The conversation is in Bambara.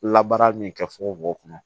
Labaara ni kɛ fugofugo kɔnɔ